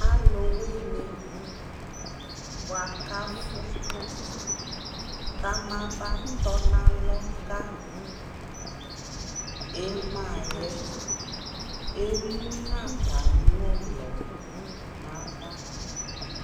alʋ wini bʋakʋ aƒʋ kʋ ama ba tɔ nʋ alɔ ka ɛmaa yɛ ɛmʋnʋ atami ɔlɔ nʋ aɣa